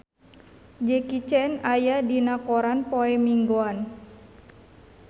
Jackie Chan aya dina koran poe Minggon